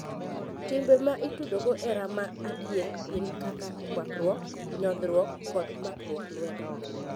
Timbe ma itudogo hera ma adier gin kaka kuakruak, nyodhruok, kod makruok lwedo.